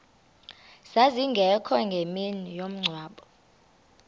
zazingekho ngemini yomngcwabo